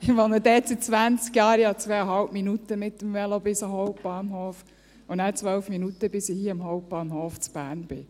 Ich wohne dort seit zwanzig Jahren, ich habe 2,5 Minuten mit dem Velo bis zum Hauptbahnhof und dann 12 Minuten, bis ich vom Hauptbahnhof in Bern hier bin.